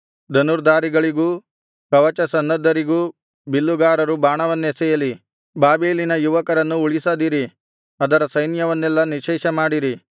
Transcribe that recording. ಧನುರ್ಧಾರಿಗಳಿಗೂ ಕವಚಸನ್ನದ್ಧರಿಗೂ ಬಿಲ್ಲುಗಾರರು ಬಾಣವನ್ನೆಸೆಯಲಿ ಬಾಬೆಲಿನ ಯುವಕರನ್ನು ಉಳಿಸದಿರಿ ಅದರ ಸೈನ್ಯವನ್ನೆಲ್ಲಾ ನಿಶ್ಶೇಷಮಾಡಿರಿ